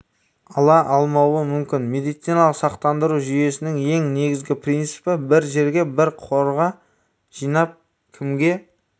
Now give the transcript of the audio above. ала алмауы мүмкін медициналық сақтандыру жүйесінің ең негізгі принципі бір жерге бір қорға жинап кімге